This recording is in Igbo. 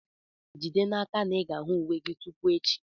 Jide n'aka na ị ga-ahụ uwe gị tupu echi!